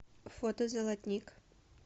фото золотник